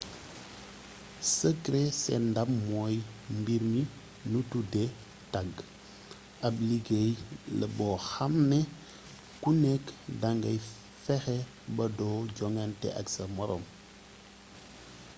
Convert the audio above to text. sekre seen ndam mooy mbir mi nu tudde tàgg ab liggéey la boo xaam ne ku nekk dangay fexe ba doo jogante ak sa moroom